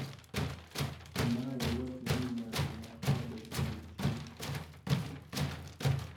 Mae iwacho ni nyalo mar kadho odok chien.